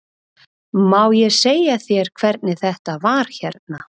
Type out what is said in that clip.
Má ég segja þér hvernig þetta var hérna?